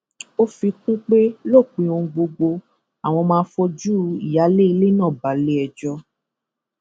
ó fi kún un pé lópin ohun gbogbo àwọn máa fojú ìyáálé ilé náà balẹẹjọ